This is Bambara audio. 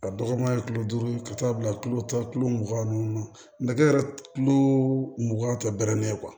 A dɔgɔman ye kulo duuru ka taa bila kilo tan kilo mugan ninnu nakɛ yɛrɛ kulo mugan tɛrɛnnen ye